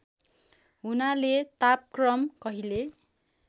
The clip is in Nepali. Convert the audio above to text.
हुनाले तापक्रम कहिले